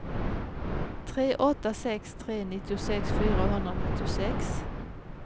tre åtta sex tre nittiosex fyrahundranittiosex